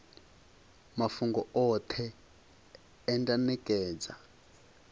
mafhungo oṱhe e nda nekedza